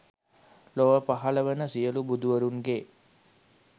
ලොව පහළ වන සියලු බුදුවරුන්ගේ